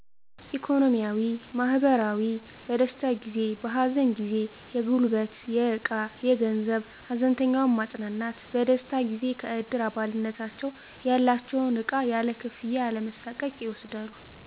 ኢኮኖሚያዊ, ማህበራዊ, በደስታ ጊዜ በሀዘን ጊዜ የጉልበት የዕቃ የገንዘብ ሀዘንተኛውን ማፅናናት በደስታ ጊዜ ከእድር አባልነታቸው ያላቸውን ዕቃ ያለ ክፍያ ያለመሣቀቅ ይወስዳሉ